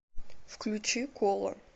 включи кола